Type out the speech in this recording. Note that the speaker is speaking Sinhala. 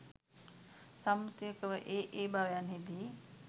සම්මුතිකව ඒ ඒ භවයන්හිදී